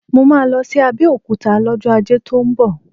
Mo máa lọ sí Abẹ́òkúta lọ́jọ́ Ajé tó ń bọ̀